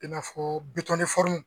I n'a fɔ